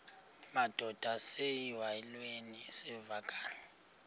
madod asesihialweni sivaqal